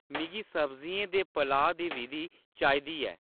मिगी सब्जियें दे पलाऽ दी विधि चाहिदी ऐ